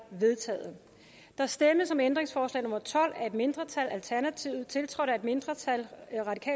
vedtaget der stemmes om ændringsforslag nummer tolv af et mindretal tiltrådt af et mindretal